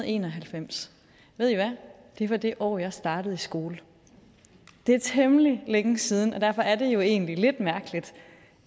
en og halvfems det var det år jeg startede i skole det er temmelig længe siden og derfor er det jo egentlig lidt mærkeligt